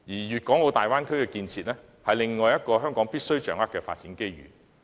粵港澳大灣區建設是另一個香港必須掌握的發展機遇。